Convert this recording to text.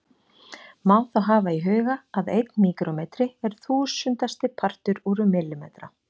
Má þá hafa í huga að einn míkrómetri er þúsundasti partur úr millimetra.